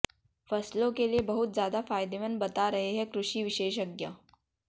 फसलों के लिए बहुत ज्यादा फायदेमंद बता रहे हैं कृषि विशेषज्ञ